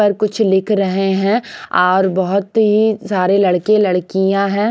पर कुछ लिख रहे हैं और बहुत ही सारे लड़के लड़कियां हैं.